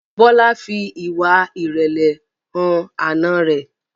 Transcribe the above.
Bola fí ìwà irẹlẹ hàn Àna rẹ